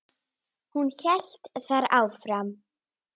Hún hélt þar áfram